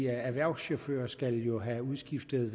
erhvervschauffører skal jo have udskiftet